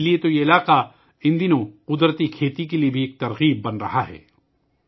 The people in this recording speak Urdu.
اسی لئے تو یہ علاقہ ان دنوں قدرتی کھیتی کے لئے بھی تحریک بن رہا ہے